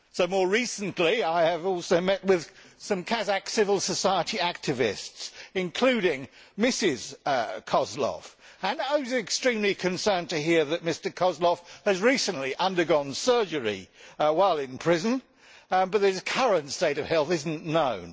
More recently, I have also met with some Kazakh civil society activists, including Mrs Kozlov, and I was extremely concerned to hear that Mr Kozlov has recently undergone surgery while in prison but that his current state of health is not known.